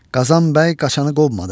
Qazan bəy qaçanı qovmadı.